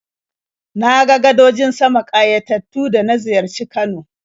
Na ga gadojin sama ƙayatattu da na ziyarci Kano.